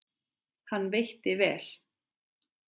Hann veitti vel